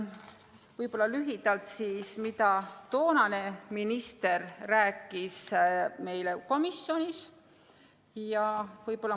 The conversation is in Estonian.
Võib-olla lühidalt, mida toonane minister meile komisjonis rääkis.